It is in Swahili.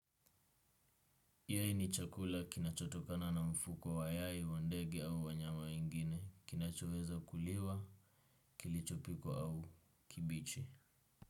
Yai ni chakula kinachotokana na mfuko wa yai, wa ndege au wanyama wengine. Kinachoweza kuliwa, kilichopikwa au kibichi.